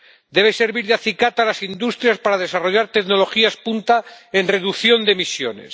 debe servir de acicate a las industrias para desarrollar tecnologías punta en reducción de emisiones